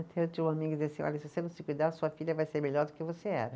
Eu tinha uma amiga que dizia assim, olha, se você não se cuidar, sua filha vai ser melhor do que você era.